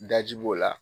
Daji b'o la